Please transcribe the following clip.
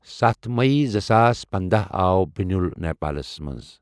ستھ مٔی زٕساس پندہ آو بٕنیُل نؠپالس مَنٛز .